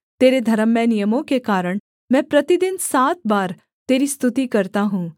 तेरे धर्ममय नियमों के कारण मैं प्रतिदिन सात बार तेरी स्तुति करता हूँ